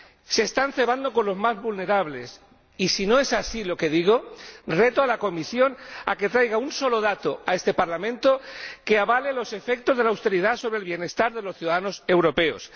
Se están cebando con los más vulnerables y, si no es así lo que digo, reto a la Comisión a que traiga un solo dato a este Parlamento que avale los efectos de la austeridad sobre el bienestar de los ciudadanos europeos.